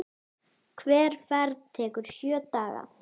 Hver ferð tekur sjö daga.